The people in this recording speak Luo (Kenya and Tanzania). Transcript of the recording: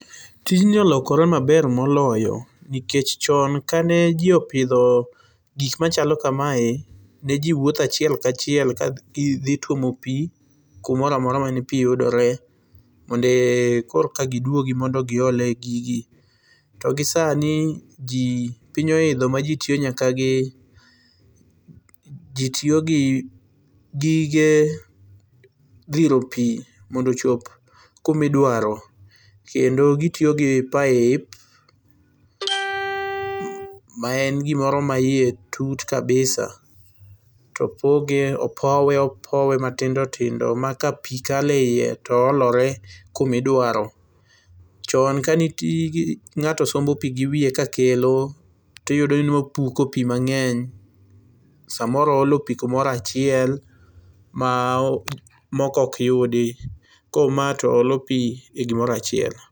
Tijni olokore maber moloyo nikech chon kane jii opidho gik machalo kamae ne jii wuotho achiel kachiel kadhi tuomo pii kumoro amora mane pii yudore mondo korka giduogi mondo giol e gigi, togi sani piny oidho maji tiyo nyaka gi, jii tiyo gi gige dhiro pii mondo ochop kuma idwaro kendo gitiyo gi pipe maen gimoro ma iye tut kabisa to opoge, opowe matindo tindo ma ka pii kale iye to olore kumi dwaro. Chon kane ngato sombo pii giwiye ka kelo to iyudo ni ne opuko pii mangeny, samoro ooolo pii kamoro achiel ma moko ok yudi, koro mae to olo pii e gimoro achiel